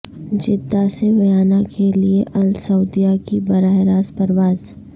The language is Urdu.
جدہ سے ویانا کیلئے السعودیہ کی براہ راست پرواز